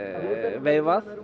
veifað